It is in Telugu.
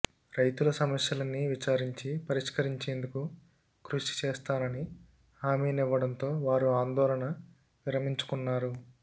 రైతుల సమస్యలన్నీ విచారించి పరిష్కరించేందుకు కృషి చేస్తానని హామీనివ్వడంతో వారు ఆందోళన విరమించుకున్నారు